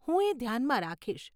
હું એ ધ્યાનમાં રાખીશ.